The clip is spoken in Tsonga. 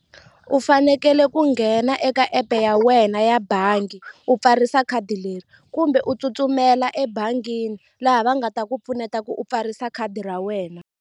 U fanekele ku nghena eka app ya wena ya bangi u pfarisa khadi leri kumbe u tsutsumela ebangini laha va nga ta ku pfuneta ku u pfarisa khadi ra wena.